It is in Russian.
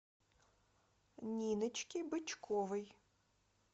ниночке бычковой